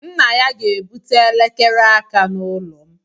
Nna ya ga-ebute elekere aka n'ụlọ m.